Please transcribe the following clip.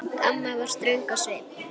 Amma var ströng á svip.